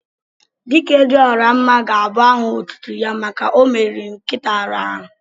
"Dike dị ọra mma" ga-abụ áhà otútú ya màkà na omeriri nkịta árá áhù